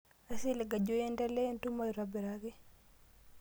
Aisilig ajo iendelea entumo aitobiraki.